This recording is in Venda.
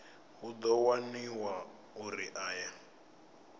hu ḓo waniwa uri aya